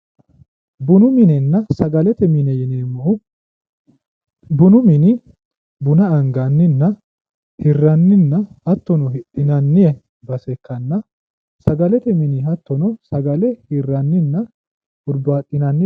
bunu minenna sagalete mine yineemmohu bunu mini buna anganninna hirranninna hattono hidhinanni base ikkanna sagalete mini hattono sagale hirranninna hurbaaxinanni .